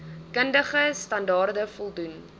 kundige standaarde voldoen